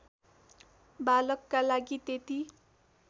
बालकका लागि त्यति